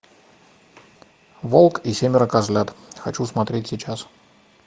волк и семеро козлят хочу смотреть сейчас